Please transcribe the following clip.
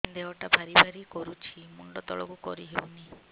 ଦେହଟା ଭାରି ଭାରି କରୁଛି ମୁଣ୍ଡ ତଳକୁ କରି ହେଉନି